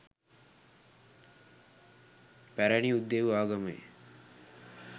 පැරැණි යුදෙව් ආගමේ